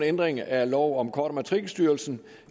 ændring af lov om kort og matrikelstyrelsen